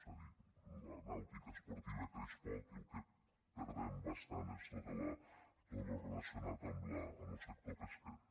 és a dir la nàutica esportiva creix poc i lo que perdem bastant és tot lo relacionat amb lo sector pesquer